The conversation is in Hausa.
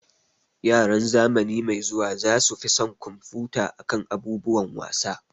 Yaran zamani mai zuwa za su fi son kumfuta akan abubuwan wasa